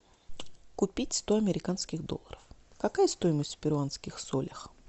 купить сто американских долларов какая стоимость в перуанских солях